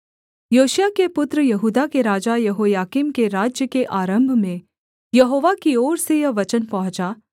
योशिय्याह के पुत्र यहूदा के राजा यहोयाकीम के राज्य के आरम्भ में यहोवा की ओर से यह वचन पहुँचा